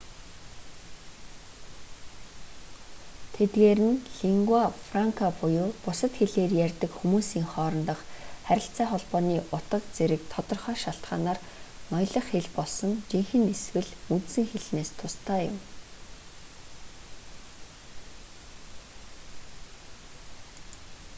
тэдгээр нь лингуа франка буюу бусад хэлээр ярьдаг хүмүүсийн хоорондох харилцаа холбооны утга зэрэг тодорхой шалтгаанаар ноёлох хэл болсон жинхэнэ эсвэл үндсэн хэлнээс тусдаа юм